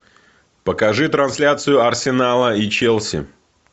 покажи трансляцию арсенала и челси